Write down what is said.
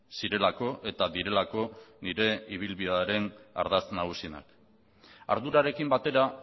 zirelako eta direlako nire ibilbidearen ardatz nagusienak ardurarekin batera